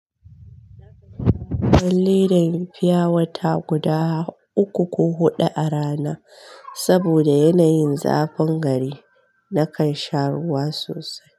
Da ledan fiya wata guda uku ko huɗu a rana, saboda yanayin zafin gari nakan sha ruwa sosai.